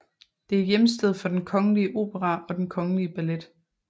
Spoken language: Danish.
Det er hjemsted for den Kongelige Opera og den Kongelige Ballet